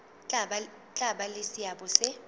tla ba le seabo se